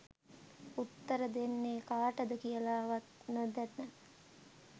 උත්තර දෙන්නේ කාටද කියල වත් නොදැන